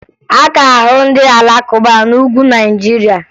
A ka ahụ ndị Alakụba n'Ugwu Naịjirịa